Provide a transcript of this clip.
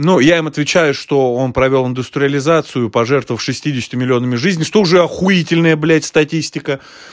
ну я им отвечаю что он провёл индустриализацию пожертвовав шестьюдесятью миллионами жизни что уже охуительная блять статистика